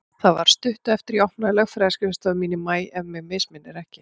Það var stuttu eftir að ég opnaði lögfræðiskrifstofu mína í maí, ef mig misminnir ekki.